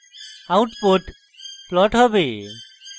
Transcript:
output plot হবে